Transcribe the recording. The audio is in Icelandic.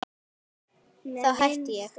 Þá hætti ég!